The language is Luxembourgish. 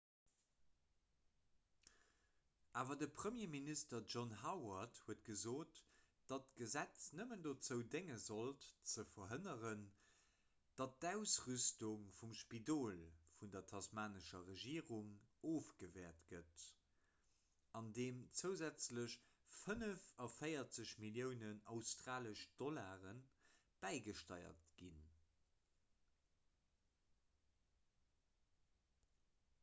awer de premierminister john howard huet gesot datt d'gesetz nëmmen dozou dénge sollt ze verhënneren datt d'ausrüstung vum spidol vun der tasmanescher regierung ofgewäert gëtt andeem zousätzlech 45 milliounen aud bäigesteiert ginn